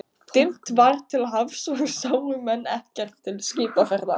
Dimmt var til hafs og sáu menn ekkert til skipaferða.